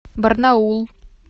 барнаул